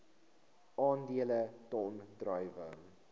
aandele ton druiwe